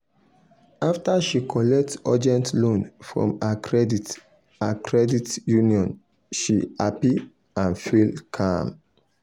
after she collect urgent loan from her credit her credit union she happy and feel calm.